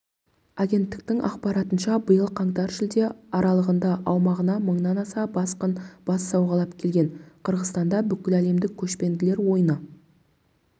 агенттігінің ақпаратынша биыл қаңтар-шілде аралығында аумағына мыңнан аса босқын бас сауғалап келген қырғызстанда бүкіләлемдік көшпенділер ойыны